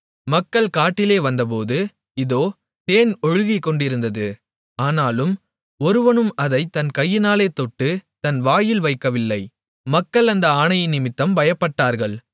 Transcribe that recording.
மக்கள் காட்டிலே வந்தபோது இதோ தேன் ஒழுகிக்கொண்டிருந்தது ஆனாலும் ஒருவனும் அதைத் தன் கையினாலே தொட்டுத் தன் வாயில் வைக்கவில்லை மக்கள் அந்த ஆணையினிமித்தம் பயப்பட்டார்கள்